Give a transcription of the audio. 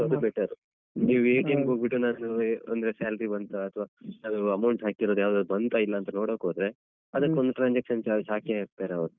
So ಅದ್ better ನೀವ್ ಹೋಗ್ಬಿಟ್ಟು ಏನಾದ್ರು ಅಂದ್ರೆ salary ಬಂತಾ ಅಥ್ವ ಯಾವ್ದಾದ್ರು amount ಹಾಕಿರೋದು ಯಾವ್ದಾದ್ರು ಬಂತಾ ಇಲ್ಲ ಅಂತ ನೋಡೋಕೋದ್ರೆ ಅದಕೊಂದ್ transaction charge ಹಾಕೇ ಹಾಕ್ತರೆ ಅವ್ರು.